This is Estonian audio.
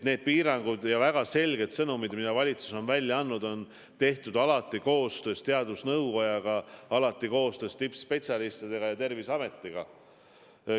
Need piirangud ja väga selged sõnumid, mida valitsus on välja andnud, on tehtud alati koostöös teadusnõukojaga, alati koostöös tippspetsialistidega ja Terviseametiga.